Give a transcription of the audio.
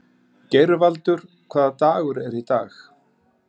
Geirvaldur, hvaða dagur er í dag?